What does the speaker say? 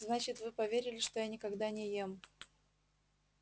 значит вы поверили что я никогда не ем